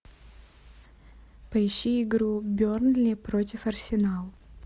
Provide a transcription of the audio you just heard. поищи игру бернли против арсенал